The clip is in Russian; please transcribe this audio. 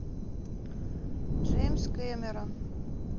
джеймс кэмерон